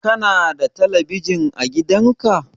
Kana da talabijin a gidan ka?